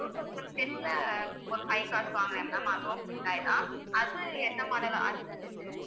two thousand ten ல ஒரு five cars வாங்கினேன் ma'am அதுவும் ஹூண்டாய் தான் அது என்ன model அது